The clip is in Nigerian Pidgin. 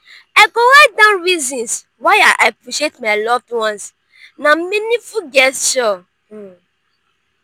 i go write down reasons why i appreciate my loved ones; na meaningful gesture. um